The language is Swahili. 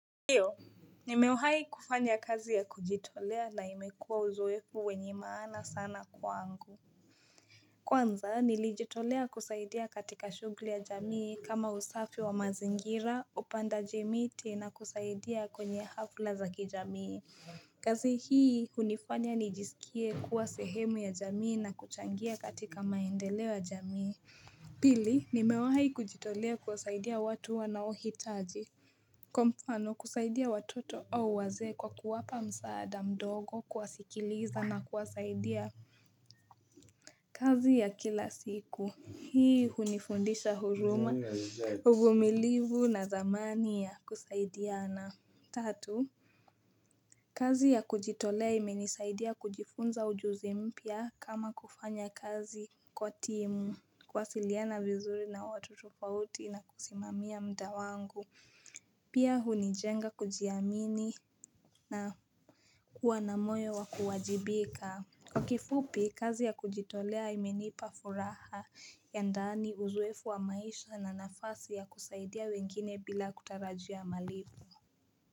Ndiyo, nimewahi kufanya kazi ya kujitolea na imekuwa uzoefu wenye maana sana kwangu. Kwanza, nilijitolea kusaidia katika shughuli ya jamii kama usafi wa mazingira, upandaji miti na kusaidia kwenye hafla za kijamii. Kazi hii, hunifanya nijisikie kuwa sehemu ya jamii na kuchangia katika maendeleo ya jamii. Pili, nimewahi kujitolea kuwasaidia watu wanaohitaji. Kwa mfano, kusaidia watoto au wazee kwa kuwapa msaada mdogo kuwasikiliza na kuwasaidia kazi ya kila siku. Hii hunifundisha huruma uvumilivu na thamani ya kusaidiana. Tatu kazi ya kujitolea imenisaidia kujifunza ujuzi mpya kama kufanya kazi kwa timu. Kuwasiliana vizuri na watoto kwa uti na kusimamia muda wangu Pia hunijenga kujiamini na kuwa na moyo wa kuwajibika. Kwa kifupi, kazi ya kujitolea imenipa furaha ya ndani uzoefu wa maisha na nafasi ya kusaidia wengine bila kutarajia malipo.